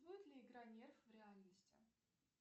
будет ли игра нерв в реальности